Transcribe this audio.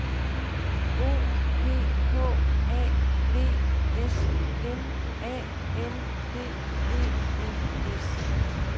O P H A V S M A N D E N S